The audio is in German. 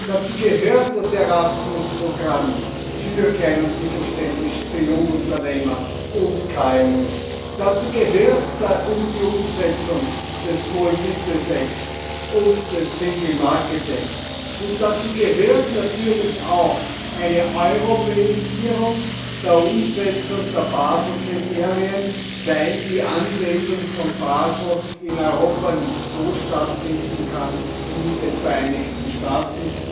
Dazu gehört das Erasmus Programm für Klein und Mittelständische, für Jungunternehmer und KMU, dazu gehört die Umsetzung des Small Business Act und des Single Market Act, und dazu gehört natürlich auch eine Europäisierung der Umsetzung der Baselkriterien, weil die Anwendung von Basel in Europa nicht so stattfinden kann wie in den Vereinigten Staaten,